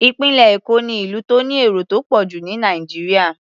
Ìpínlẹ̀ Èkó ni ìlú tó ní èrò tó pọ̀ jù ní Nàìjíríà.